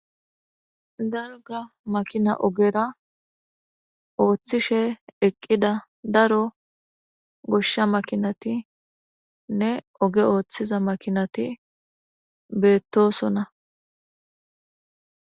darga makina ogera ooththishe eqqida daro goshsha makinatinne oge ooththiza makinati beettosona